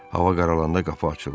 Hava qaralanda qapı açıldı.